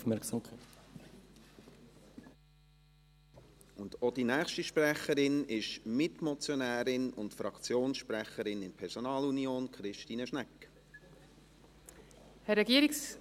Auch die nächste Sprecherin ist Mitmotionärin und Fraktionssprecherin in Personalunion: Christine Schnegg.